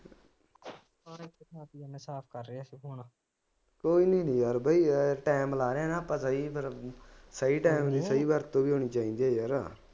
ਸਾਰੇ ਪੰਜਾਬੀਆਂ ਦਾ ਸਾਫ ਕਰ ਰਹੇ ਹੈ